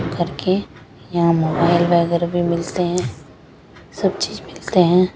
mobile वगेरह भी मिलते हैं सब चीज़ मिलते हैं--